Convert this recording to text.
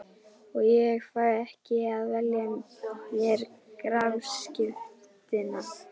Og ég fæ ekki að velja mér grafskriftina.